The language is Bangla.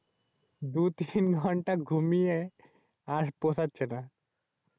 দু তিন ঘন্টা ঘুমিয়ে আর পোশাচ্ছেনা।